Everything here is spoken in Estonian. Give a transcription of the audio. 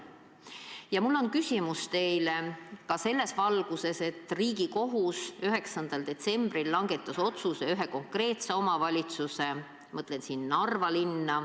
Ja mul on küsimus teile selles valguses, et Riigikohus langetas 9. detsembril otsuse ühe konkreetse omavalitsuse suhtes, ma mõtlen Narva linna.